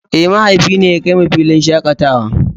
Eh mahaifi ne ya kai mu filin shakatawa.